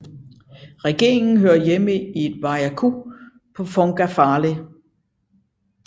Regeringen hører hjemme i Vaiaku på Fongafale